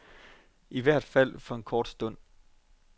I hvert fald for en kort stund.